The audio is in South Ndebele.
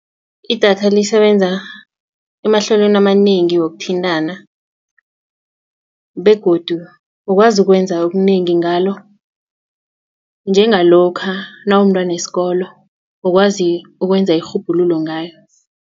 Idatha lisebenza emahlelweni amanengi wokuthintana begodu ukwazi ukwenza okunengi ngalo njengalokha nawumntwanesikolo ukwazi ukwenza irhubhululo ngayo.